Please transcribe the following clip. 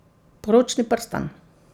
Poročni prstan.